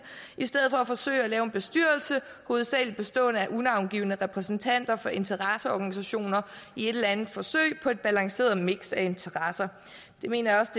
i stedet for at forsøge at lave en bestyrelse hovedsagelig bestående af unavngivne repræsentanter for interesseorganisationer i et eller andet forsøg på et balanceret miks af interesser det mener jeg også